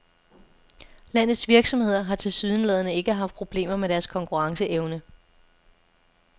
Landets virksomheder har tilsyneladende ikke haft problemer med deres konkurrencevene.